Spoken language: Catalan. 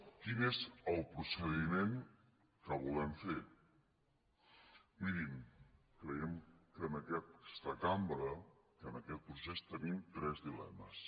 quin és el procediment que volem fer mirin creiem que en aquesta cambra que en aquest procés tenim tres dilemes